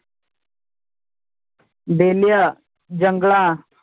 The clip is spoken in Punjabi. ਬੇਲਿਆਂ ਜੰਗਲਾਂ,